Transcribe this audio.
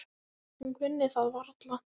Hún kunni það varla.